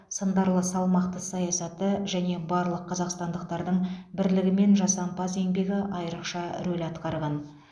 сындарлы салмақты саясаты және барлық қазақстандықтардың бірлігі мен жасампаз еңбегі айрықша рөл атқарған